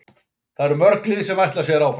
Það eru mörg lið sem ætla sér áfram.